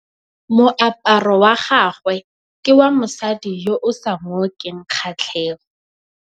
Moaparô wa gagwe ke wa mosadi yo o sa ngôkeng kgatlhegô.